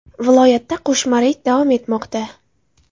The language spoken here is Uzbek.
Viloyatda qo‘shma reyd davom etmoqda.